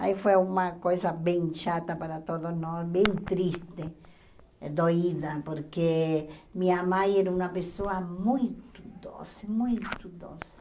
Aí foi uma coisa bem chata para todos nós, bem triste, doída, porque minha mãe era uma pessoa muito doce, muito doce.